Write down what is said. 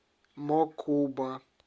мокуба